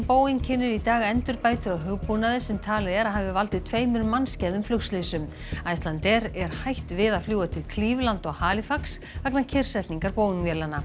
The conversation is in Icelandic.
Boeing kynnir í dag endurbætur á hugbúnaði sem talið er að hafi valdið tveimur mannskæðum flugslysum Icelandair er hætt við að fljúga til Cleveland og Halifax vegna kyrrsetningar Boeing vélanna